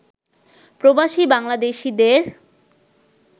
প্রবাসী বাংলাদেশীদের